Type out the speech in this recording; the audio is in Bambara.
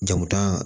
Jamutan